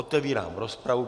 Otevírám rozpravu.